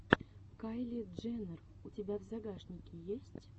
кайли дженнер у тебя в загашнике есть